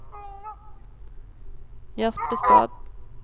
Jerpstad